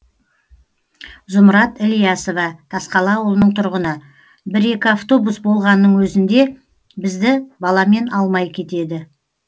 зұмрат ілиясова тасқала ауылының тұрғыны бір екі автобус болғанның өзінде бізді баламен алмай кетеді